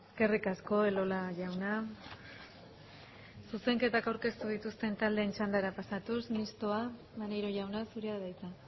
eskerrik asko elola jauna zuzenketak aurkeztu dituzten taldeen txandara pasatuz mistoa maneiro jauna zurea da hitza